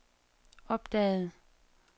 opdagede